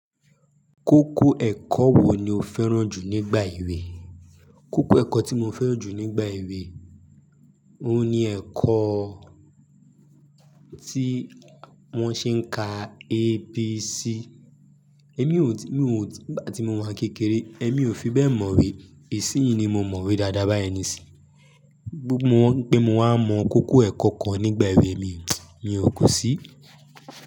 Kókó ẹ̀kọ́ wo ni o fẹ́ràn jù nígbà èwe? Kókó ẹ̀kọ́ tí mo fẹ́ràn jù nígbà èwe, ohun ni ẹ̀kọ́ tí wón ṣe ń ka ABC. Nígbà tí mo wà kékeré èmi ò fi bẹ́ẹ̀ mọ̀we, isì yìí ni mo mọ̀we dáadáa bá yii ni isì. Pé mo wá mọ kókó ẹ̀kọ́ kan nígbà èwe mi, kú sí.